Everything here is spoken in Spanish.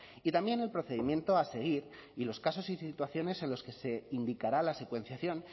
y también el procedimiento a seguir y los casos y situaciones en las que se indicará la secuenciación